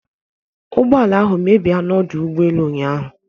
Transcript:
Ụgbọ ala ahụ mebi a n'ọdụ ụgbọ elu ụnyahụ